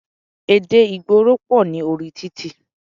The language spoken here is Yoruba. Èdè ìgboro pọ̀ ní orí títì.